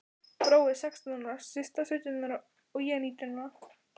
Brói sextán ára, Systa sautján ára og ég nítján ára.